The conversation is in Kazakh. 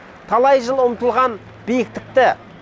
талай жыл ұмтылған биіктікті